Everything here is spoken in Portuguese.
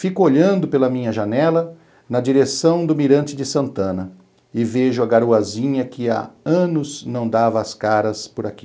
Fico olhando pela minha janela na direção do mirante de Santana e vejo a garoazinha que há anos não dava as caras por aqui.